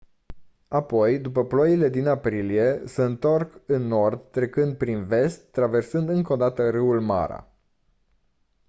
apoi după ploile din aprilie se întorc în nord trecând prin vest traversând încă o dată râul mara